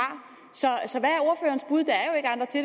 så